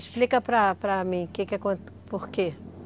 Explica para para mim, por quê?